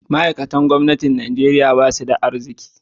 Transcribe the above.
Ma'aikatan gwamnati a Najeriya ba su da arziki